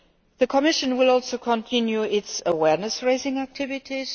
The Commission will also continue its awareness raising activities.